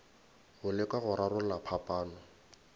go leka go rarolla phapano